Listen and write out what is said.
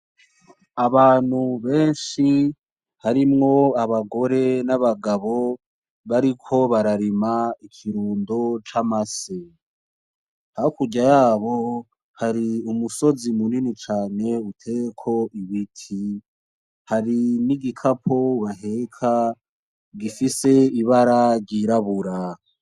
Abantu benshi harimwo abagore nabagabo bariko bararima ikirundo camase, hakurya yabo har'imusozi munini cane uteyeko ibiti, hari nigikapo baheka gifise ibara ry'irabura.